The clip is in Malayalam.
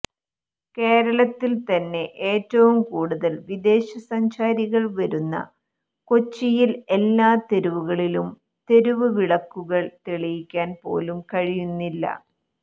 കേരളത്തിൽത്തന്നെ ഏറ്റവും കൂടുതൽ വിദേശസഞ്ചാരികൾ വരുന്ന കൊച്ചിയിൽ എല്ലാ തെരുവുകളിലും തെരുവുവിളക്കുകൾ തെളിക്കാൻ പോലും കഴിയുന്നില്ല